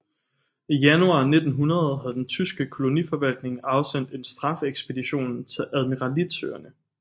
I januar 1900 havde den tyske koloniforvaltning afsendt en straffeekspedition til admiralitetsøerne